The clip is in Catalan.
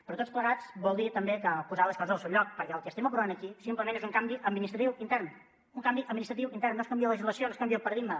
però tots plegats vol dir també posar les coses al seu lloc perquè el que estem aprovant aquí simplement és un canvi administratiu intern un canvi administratiu intern no es canvia la legislació no es canvia el paradigma